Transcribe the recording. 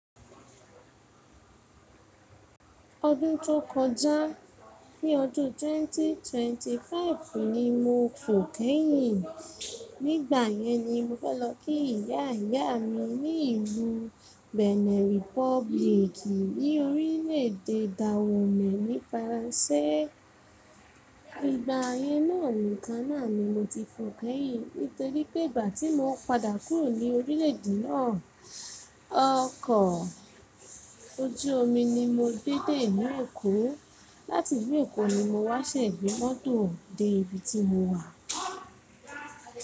Ọdún tó kọjá, ní ọdún 2025 ni mo fò kẹ́yìn. Nígbà yẹn ni mo fẹ́ lọ kí ìyá ìyá mi ní ìlú Benin Republic, ní orílẹ̀èdè Daomè ní Faransé. Ìgbà yẹn náà nìkan náà ni mo ti fò kẹ́yìn nítorí pé ìgbà tí mo padà kúrò ní orílẹ̀èdè náà, ọkọ̀ ojú omi ni mo gbé dé ilu Èkó. Láti ilu Èkó ni mo wá ṣẹ̀ gbe mọ́tò dé ibi tí mo wà.